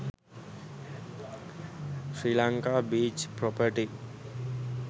sri lanka beach property